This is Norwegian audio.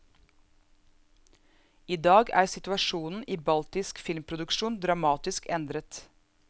I dag er situasjonen i baltisk filmproduksjon dramatisk endret.